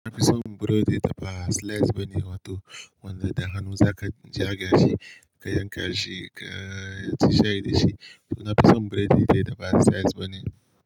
Na fi son burodi da ba slice ba ne, wato wanda da hannu za ka jiaga shi, ka yanka shi, ka ci shai da shi. To na fi son burodi da ba slice ba ne.